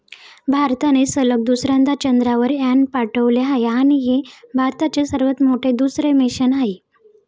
भारताने सलग दुसऱ्यांदा चंद्रावर यान पाठवले आहे आणि हे भारताचे सर्वात मोठे दुसरे मिशन आहे.